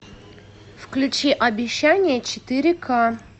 включи обещание четыре ка